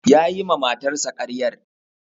Ya yi ma matarsa karyar.